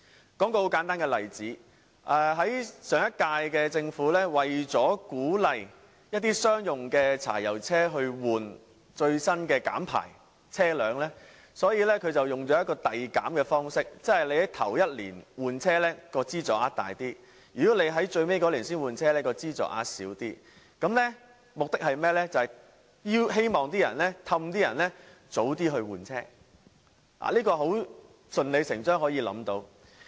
我舉一個很簡單的例子，上屆政府為了鼓勵將商用柴油汽車更換最新的減排車輛，所以使用了遞減的方式，即首年換車的資助額較大，如果在最後一年才換車，資助額便會較少，目的是希望誘使車主提早換車，這是順理成章可以想象得到的。